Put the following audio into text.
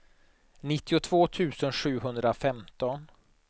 nittiotvå tusen sjuhundrafemton